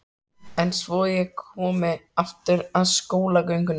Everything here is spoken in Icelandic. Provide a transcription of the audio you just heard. En svo ég komi aftur að skólagöngunni.